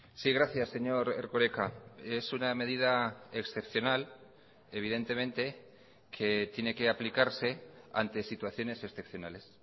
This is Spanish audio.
sí gracias señor erkoreka es una medida excepcional evidentemente que tiene que aplicarse ante situaciones excepcionales